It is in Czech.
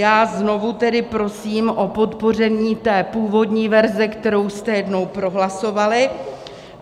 Já znovu tedy prosím o podpoření té původní verze, kterou jste jednou prohlasovali.